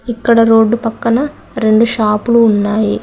ఇక్కడ రోడ్ పక్కన రెండు షాపులు ఉన్నాయి.